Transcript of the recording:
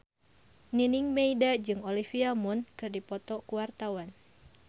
Nining Meida jeung Olivia Munn keur dipoto ku wartawan